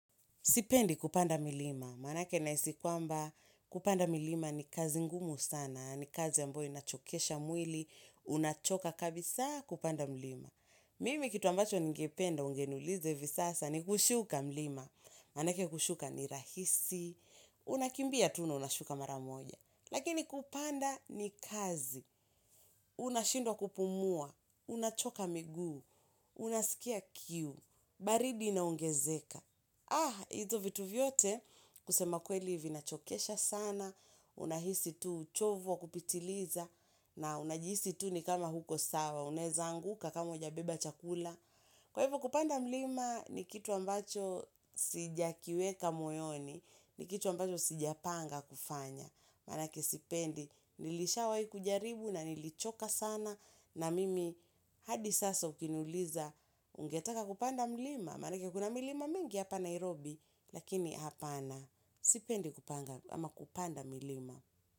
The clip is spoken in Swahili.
Sipendi kupanda milima, manake nahisi kwamba kupanda milima ni kazi ngumu sana, ni kazi ya amboyo inachokesha mwili, unachoka kabisa kupanda milima. Mimi kitu ambacho ningependa ungeniuliza hivi sasa ni kushuka mlima, manake kushuka ni rahisi, unakimbia tu unashuka mara moja. Lakini kupanda ni kazi, unashindwa kupumua, unachoka miguu, unasikia kiu, baridi inaongezeka. Ah, hizo vitu vyote kusema kweli vinachokesha sana, unahisi tu uchovu wa kupitiliza, na unajisi tu ni kama huko sawa, unaweza anguka kama hujabeba chakula. Kwa hivyo kupanda mlima ni kitu ambacho sijakiweka moyoni, ni kitu ambacho sijapanga kufanya. Manake sipendi, nilishawahi kujaribu na nilichoka sana na mimi hadi sasa ukiniuliza ungetaka kupanda mlima? Manake kuna milima mingi hapa Nairobi lakini hapana, sipendi kupanda milima.